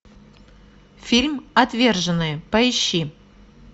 фильм отверженные поищи